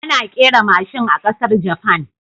Ana kera mashin a ƙasar Japan